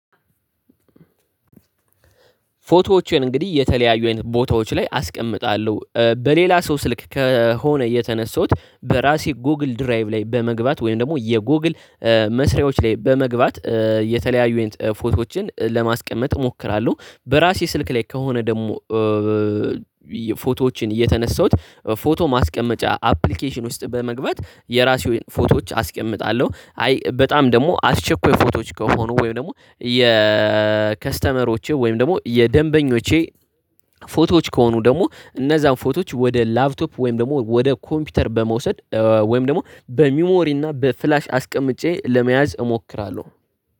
ፎቶዎቼን እንግዲህ የተለያዩ አይነት ቦታዎች ላይ አስቀምጣለሁ በሌላ ሰው ስልክ ከሆነ የተነሳሁት በራሴ ጎግል ድራይቭ ላይ በመግባት ወይም ደግሞ የጎግል መስሪያዎች ላይ በመግባት የተለያዩ አይነት ፎቶዎችን ለማስቀመጥ እሞክራለሁ። በራሴ ስልክ ላይ ከሆነ ደግሞ ፎቶዎችን እየተነሳሁት ፎቶ ማስቀመጫ አፕሊኬሽን ውስጥ በመግባት የራሴን ፎቶዎች አስቀምጣለሁ። አይ በጣም ደግሞ አስቸኳይ ፎቶዎች ከሆኑ ወይም ደግሞ የከስተመሮቼ ወይም ደግሞ የደንበኞቼ ፎቶዎች ከሆኑ ደግሞ እነዛን ፎቶዎች ወደ ላፕቶፕ ወይም ደግሞ ወደ ኮምፒውተር በመውሰድ ወይም ደግሞ በሚሞሪ እና በፍላሽ አስቀምጬ ለመያዝ እሞክራለሁ